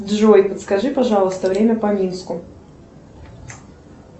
джой подскажи пожалуйста время по минску